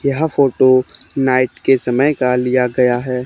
यह photo night के समय का लिया गया है।